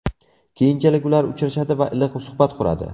Keyinchalik ular uchrashadi va iliq suhbat quradi.